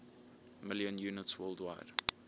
million units worldwide